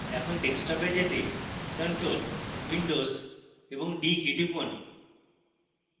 এখন ডেস্কটপে যেতে ctrl windows এবং d কী টিপুন